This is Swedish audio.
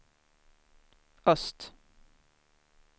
öst